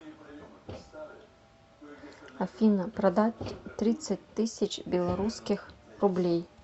афина продать тридцать тысяч белорусских рублей